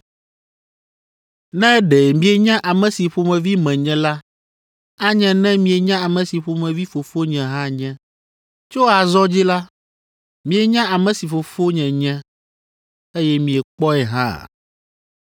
Ne ɖe mienya ame si ƒomevi menye la, anye ne mienya ame si ƒomevi Fofonye hã nye. Tso azɔ dzi la, mienya ame si Fofonye nye, eye miekpɔe hã!”